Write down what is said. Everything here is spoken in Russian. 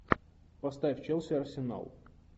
поставь челси арсенал